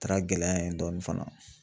Taara gɛlɛya yen dɔɔni fana